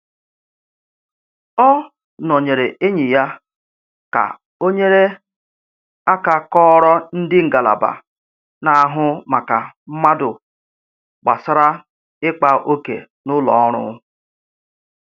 Ọ nọnyere enyi ya ka ọ nyere aka kọọrọ ndị ngalaba na-ahụ maka mmadụ gbasara ikpa òkè n'ụlọ ọrụ